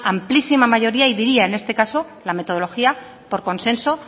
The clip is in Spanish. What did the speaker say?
amplísima mayoría y diría en este caso la metodología por consenso